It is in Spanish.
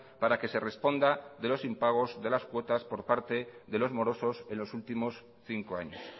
para que se responda de lo impagos de las cuotas por parte de los morosos en los últimos cinco años